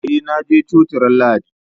Eh na je coci ran lahadi